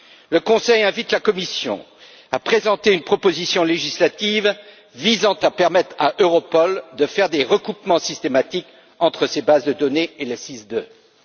Le Conseil invite la Commission à présenter une proposition législative visant à permettre à Europol de faire des recoupements systématiques entre ses bases de données et celles de SIS II.